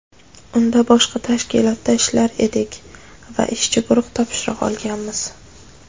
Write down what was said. Unda boshqa tashkilotda ishlar edik va ishchi guruh topshiriq olganmiz.